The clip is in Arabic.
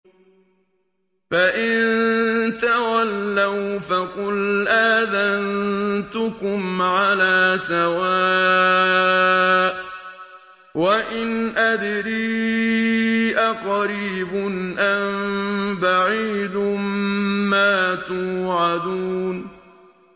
فَإِن تَوَلَّوْا فَقُلْ آذَنتُكُمْ عَلَىٰ سَوَاءٍ ۖ وَإِنْ أَدْرِي أَقَرِيبٌ أَم بَعِيدٌ مَّا تُوعَدُونَ